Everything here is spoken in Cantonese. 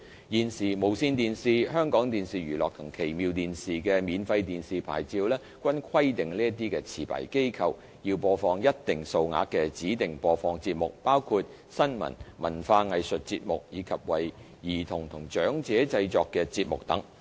現時，無綫電視、香港電視娛樂及奇妙電視的免費電視牌照均規定這些持牌機構要播放一定數額的指定播放節目，包括新聞、文化藝術節目，以及為兒童及長者製作的節目等。